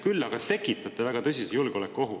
Küll aga tekitate väga tõsise julgeolekuohu.